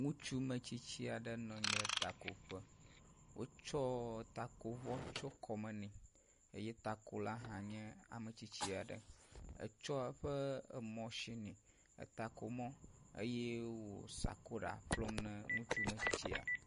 Ŋutsu metsitsi aɖe nɔ anyi ɖe takoƒe, wotsɔ takovɔ tsyɔ kɔme nɛ eye takola hã nye ametsitsi aɖe. etsɔ eƒe ematsin, takomɔ eye wònɔ sakora ƒlɔm na ŋutsu metsitsia.